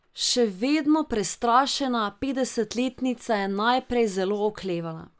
Še vedno prestrašena petdesetletnica je najprej zelo oklevala.